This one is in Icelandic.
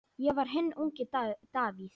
Ég var hinn ungi Davíð.